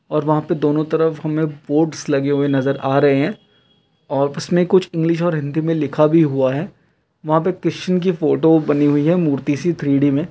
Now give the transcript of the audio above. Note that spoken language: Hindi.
और वहाँ पे दोनों तरफ हमें बोर्ड्स लगे हुए नज़र आ रहें हैं और इसमें कुछ इंग्लिश और हिंदी में लिखा भी हुआ हैं। वहाँ पे क्रिस्चियन की फोटो बनी हुई है मूर्ति सी थ्री-डी में।